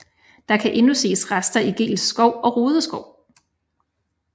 Der kan endnu ses rester i Geels Skov og Rude Skov